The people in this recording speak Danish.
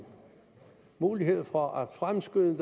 mulighed for at fremskynde